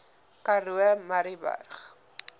karoo murrayburg